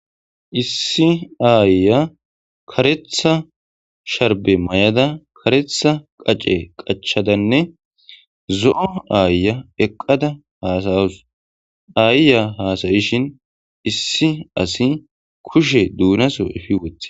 Issi ayiya kareththa sharibbe mayidda kareththa qace qachchada nne zo'o ayiya eqada haasa'awus.ayiya hasayishin issi kushshe dunasso effi woththi.